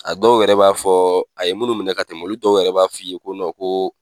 A dɔw yɛrɛ b'a fɔ a ye munnu minɛ ka tɛmɛ olu dɔw yɛrɛ b'a fɔ i ye ko ko.